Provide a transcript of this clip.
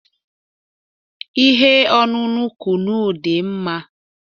Ihe ọṅụṅụ kunu dị mma